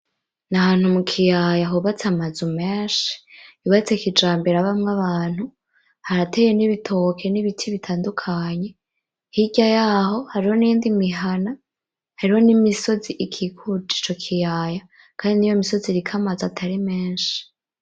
Ni ahantu mu kiyaya hubatse amazu menshi, yubatse kijambere habamwo abantu harateye n'ibitoke n'ibiti bitandukanye, hirya yaho hariho niyindi mihana hariho n'imisozi ikikuje ico kiyaya kandi niyo misozi iriko amazu atari menshi.